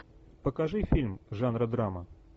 покажи фильм жанра драма